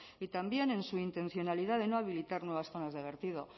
y también en su intencionalidad de no habilitar nuevas zonas de vertido